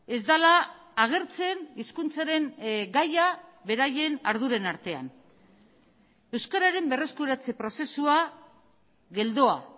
ez dela agertzen hizkuntzaren gaia beraien arduren artean euskararen berreskuratze prozesua geldoa